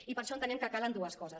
i per això entenem que calen dues coses